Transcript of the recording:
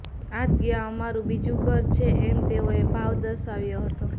આ જગ્યા અમારું બીજું ઘર છે એમ તેઓએ ભાવ દર્શાવ્યો હતો